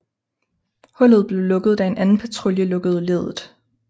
Hullet blev lukket da en anden patrulje lukkede leddet